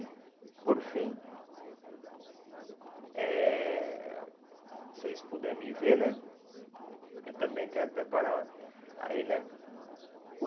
por fim, eh se vocês puderem me ver né, eu também quero preparar aí né,